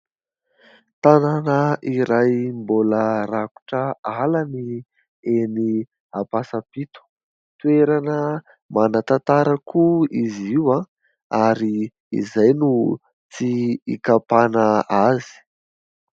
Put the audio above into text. Tanàna iray mbola rakotra ala ny eny Ampasapito. Toerana manan-tantara koa izy io ary izay no tsy hikapana azy.